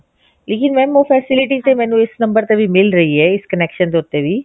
ਇਹ mam ਇਹ facility ਤਾਂ ਮੈਨੂੰ ਈਦ ਨੰਬਰ ਤੇ ਮਿਲ ਰਹੀ ਹੈ ਇਸ connection ਦੇ ਉੱਤੇ ਵੀ